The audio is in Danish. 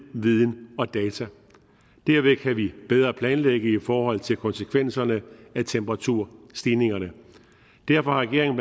viden og data derved kan vi bedre planlægge i forhold til konsekvenserne af temperaturstigningerne derfor har regeringen